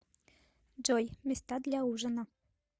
джой места для ужина